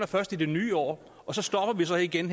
først i det nye år og så stopper vi så igen